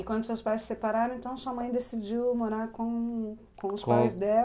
E quando seus pais se separaram, então sua mãe decidiu morar com com os pais dela?